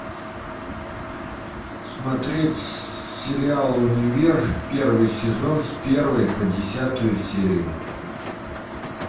смотреть сериал универ первый сезон с первой по десятую серию